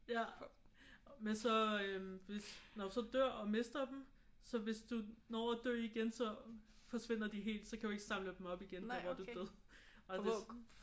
Ja. Men så øh når man så dør og mister dem så hvis du når at dø igen så forsvinder de helt. Så kan du ikke samle dem op igen der hvor du døde og hvis